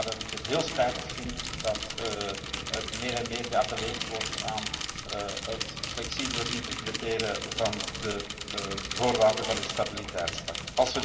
Vandaar dat ik het heel spijtig vind dat er meer en meer geappelleerd wordt aan het flexibeler interpreteren van de voorwaarden van het stabiliteitspact.